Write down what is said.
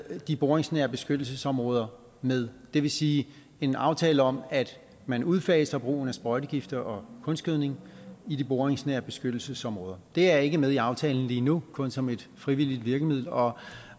de boringsnære beskyttelsesområder med det vil sige en aftale om at man udfaser brugen af sprøjtegifte og kunstgødning i de boringsnære beskyttelsesområder det er ikke med i aftalen lige nu kun som et frivilligt virkemiddel og